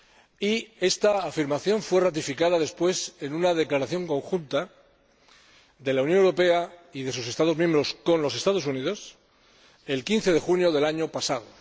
y esta afirmación fue ratificada después en una declaración conjunta de la Unión Europea y de sus Estados miembros con los Estados Unidos el 15 de junio del año pasado.